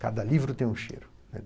Cada livro tem um cheiro, né?